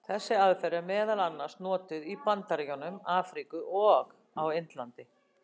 Þessi aðferð er meðal annars notuð í Bandaríkjunum, Afríku og á Indlandi.